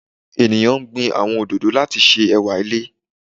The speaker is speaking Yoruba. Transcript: Eniyan gbin awọn ododo lati ṣe ẹwa ile